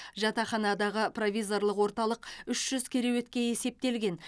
жатақханадағы провизорлық орталық үш жүз кереуетке есептелген